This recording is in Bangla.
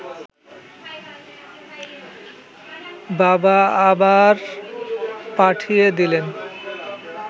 বাবা আবার পাঠিয়ে দিলেন